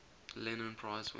lenin prize winners